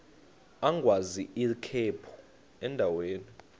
agwaz ikhephu endaweni